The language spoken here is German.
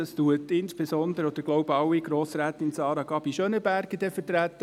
Diese wird insbesondere – oder gesamthaft, glaube ich – Sara Gabi Schönenberger vertreten.